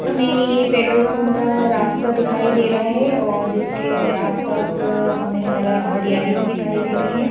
हमें ये petrol pump का रास्ता दिखाई दे रहा है और जिसके आसपास हमें हरा हरियाली भी दिखाई दे रही है।